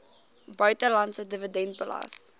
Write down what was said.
buitelandse dividend belas